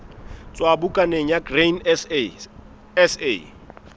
tswa bukaneng ya grain sa